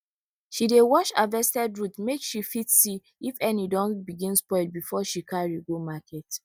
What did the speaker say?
she dey wash harvested root make she fit see if any don begin spoil before she carry go market